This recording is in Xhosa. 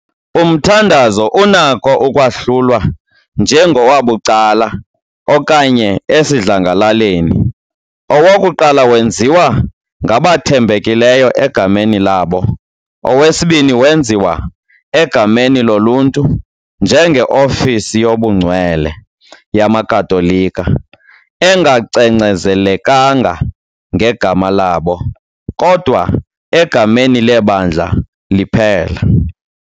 Umthandazo unakho ukwahlulwa "njengowabucala" okanye "esidlangalaleni". Owokuqala wenziwa ngabathembekileyo egameni labo, owesibini wenziwa egameni loluntu njengeofisi "yobungcwele" yamaKatolika, engacengcezelekanga ngegama labo, kodwa egameni leBandla liphela .